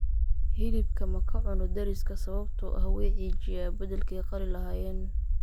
Hilibka ma ka cunno dariska sababtoo ahh way cijiyaa bedelkay qalilahayen